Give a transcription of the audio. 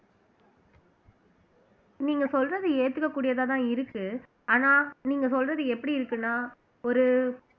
நீங்க சொல்றது ஏத்துக்க கூடியதா தான் இருக்கு ஆனா நீங்க சொல்றது எப்படி இருக்குன்னா ஒரு